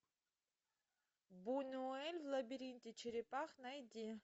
бунюэль в лабиринте черепах найди